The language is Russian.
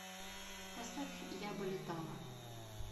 поставь я бы летала